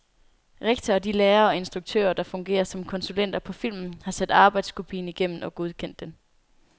Rektor og de lærere og instruktører, der fungerer som konsulenter på filmen, har set arbejdskopien igennem og godkendt den.